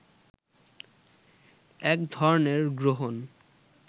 এক ধরনের গ্রহণ